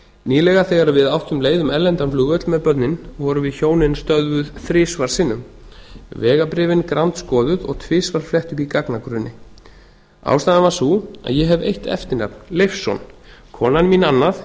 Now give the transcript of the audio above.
nýlega þegar við áttum leið um erlendan flugvöll með börnin vorum við hjónin stöðvuð þrisvar sinnum vegabréfin grandskoðuð og tvisvar flett upp í gagnagrunni ástæðan var sú að ég hef eitt eftirnafn leifsson konan mín annað